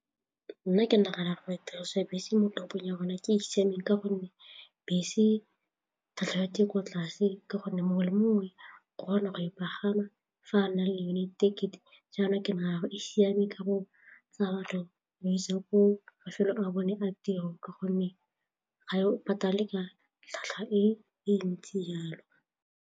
Nna ke nagana gore tiriso ya dibese mo toropong ya rona ke e e siameng gonne bese ga tshelete ko tlase ka gonne mongwe le mongwe o kgona go e pagama fa a na le yone ticket-e mare e siame ka go tsaya batho e ba isa ko mafelo a bone a tiro ka gonne ga yo patale ka tlhwatlhwa e ntsi jalo.